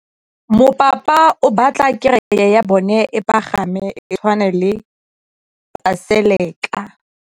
Mopapa o batla kereke ya bone e pagame, e tshwane le paselika.